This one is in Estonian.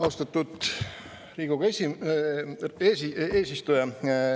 Austatud Riigikogu eesistuja!